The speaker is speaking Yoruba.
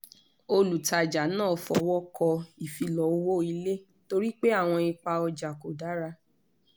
olùtajà náà fọwọ́ kọ ìfilọ́ owó ilé torí pé àwọn ipa ojà kò dára